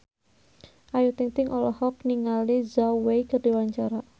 Ayu Ting-ting olohok ningali Zhao Wei keur diwawancara